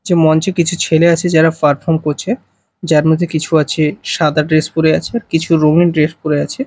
যে মঞ্চে কিছু ছেলে আছে যারা পারফর্ম করছে যার মধ্যে কিছু আছে সাদা ড্রেস পরে আছে আর কিছু রঙিন ড্রেস পরে আছে।